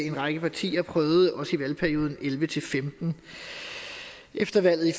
en række partier prøvede også i valgperioden elleve til femten efter valget i